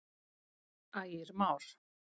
Ægir Már.